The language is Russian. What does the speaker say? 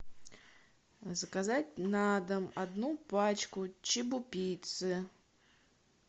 заказать на дом одну пачку чебупиццы